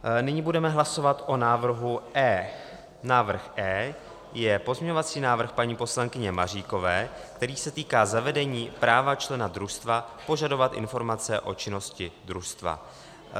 Nyní budeme hlasovat o návrhu E. Návrh E je pozměňovací návrh paní poslankyně Maříkové, který se týká zavedení práva člena družstva požadovat informace o činnosti družstva.